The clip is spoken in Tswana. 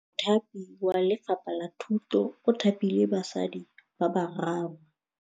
Mothapi wa Lefapha la Thutô o thapile basadi ba ba raro.